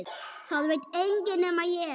Það veit enginn nema ég.